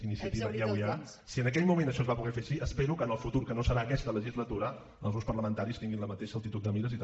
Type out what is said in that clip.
iniciativa i euia si en aquell moment això es va poder fer així espero que en el futur que no serà aquesta legislatura els grups parlamentaris tinguin la mateixa altitud de mires i que també